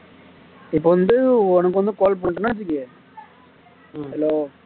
இப்ப வந்து உனக்கு வந்து call பண்றேன்னா வச்சுக்கோ hello